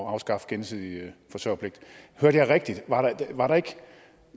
at afskaffe gensidig forsørgerpligt hørte jeg rigtigt var der ikke